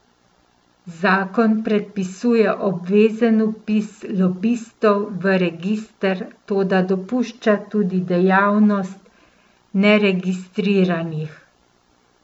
Zakon predpisuje obvezen vpis lobistov v register, toda dopušča tudi dejavnost neregistriranih.